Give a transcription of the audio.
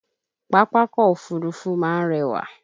Pápákọ̀ Òfurufú máa ń rẹwà